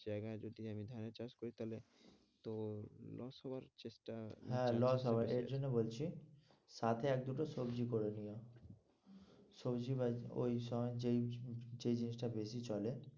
জায়গায় যদি আমি ধানের চাষ করি তাহলে তোর loss হবার চেষ্টা, হ্যাঁ loss হয় এর জন্যে বলছি সাথে আর দুটো সবজি করে নিও সবজি বা ওই সময় যেই যে জিনিসটা বেশি চলে